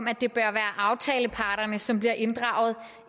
at det bør være aftaleparterne som bliver inddraget